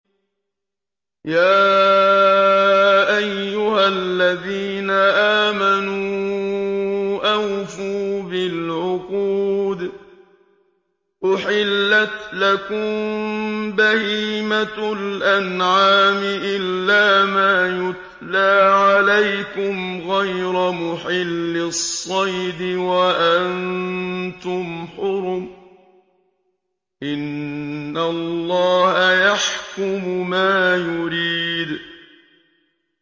يَا أَيُّهَا الَّذِينَ آمَنُوا أَوْفُوا بِالْعُقُودِ ۚ أُحِلَّتْ لَكُم بَهِيمَةُ الْأَنْعَامِ إِلَّا مَا يُتْلَىٰ عَلَيْكُمْ غَيْرَ مُحِلِّي الصَّيْدِ وَأَنتُمْ حُرُمٌ ۗ إِنَّ اللَّهَ يَحْكُمُ مَا يُرِيدُ